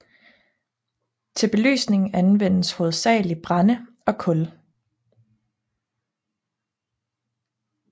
Til belysning anvendtes hovedsagelig brænde og kul